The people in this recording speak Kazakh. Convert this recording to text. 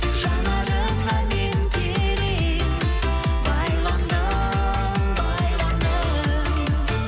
жанарыңа мен терең байландым байландым